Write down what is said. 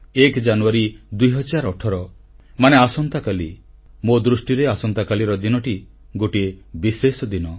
ପହିଲା ଜାନୁଆରୀ 2018 ମାନେ ଆସନ୍ତାକାଲି ମୋ ଦୃଷ୍ଟିରେ ଆସନ୍ତାକାଲିର ଦିନଟି ଗୋଟିଏ ବିଶେଷ ଦିନ